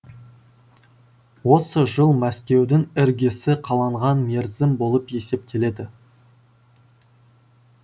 осы жыл мәскеудің іргесі қаланған мерзім болып есептеледі